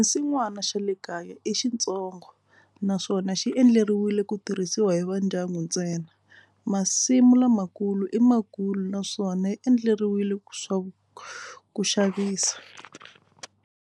Xinsin'wana xa le kaya i xintsongo naswona xi endleriwile ku tirhisiwa hi va ndyangu ntsena. Masimu lamakulu i makulu naswona yi endleriwile ku swa ku xavisa.